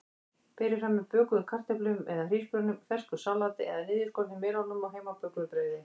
Berið fram með bökuðum kartöflum eða hrísgrjónum, fersku salati eða niðurskornum melónum og heimabökuðu brauði.